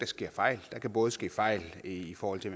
sker fejl der kan både ske fejl i forhold til